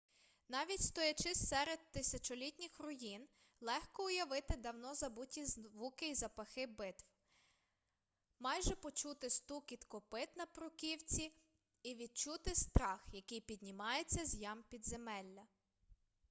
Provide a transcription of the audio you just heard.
навіть стоячи серед тисячолітніх руїн легко уявити давно забуті звуки і запахи битв майже почути стукіт копит на бруківці і відчути страх який піднімається з ям підземелля